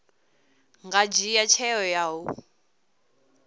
nga dzhia tsheo ya u